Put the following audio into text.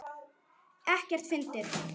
Ekkert fyndið!